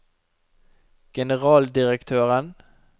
generaldirektøren